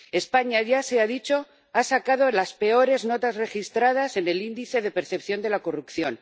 España ―ya se ha dicho― ha sacado las peores notas registradas en el Índice de Percepción de la Corrupción.